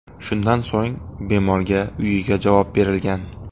Shundan so‘ng bemorga uyiga javob berilgan.